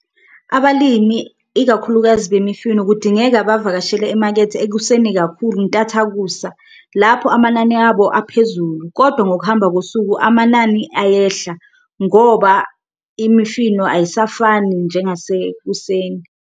Abalimi ikakhulukazi bemifino kudingeka bavakashele emakethe ekuseni kakhulu intathakusa lapho amanani abo aphezulu, kodwa ngokuhamba kosuku amanani ayehla ngoba imifino ayisafani njengasekuseni.